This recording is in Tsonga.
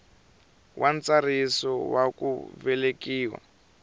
wa ntsariso wa ku velekiwa